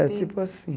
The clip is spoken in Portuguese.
É tipo assim.